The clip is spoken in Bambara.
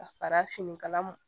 Ka fara finikala